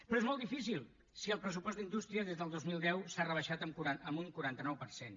però és molt difícil si el pressupost d’indústria des del dos mil deu s’ha rebaixat en un quaranta nou per cent